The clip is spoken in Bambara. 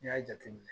N'i y'a jateminɛ